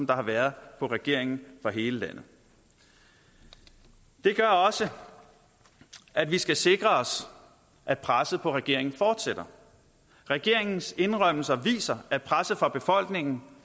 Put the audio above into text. der har været på regeringen fra hele landet det gør også at vi skal sikre os at presset på regeringen fortsætter regeringens indrømmelser viser at presset fra befolkningen